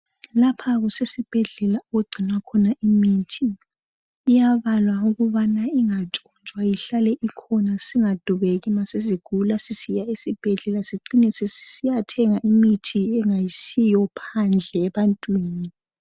Lapha kusesibhedlela okugcinwa khona imithi. Iyabalwa ukubana ingatshontshwa, ihlale ikhona singadubeki uma sesigula sesihamva esibhedlela sicine sesisiyathenga imithi engayisiyo phandle ebantwini.